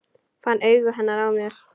Fann augu hennar á mér.